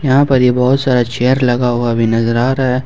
यहां पर ये बहोत सारा चेयर लगा हुआ भी नजर आ रहा है।